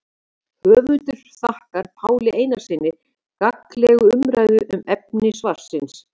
Höfundur þakkar Páli Einarssyni gagnlega umræðu um efni svarsins.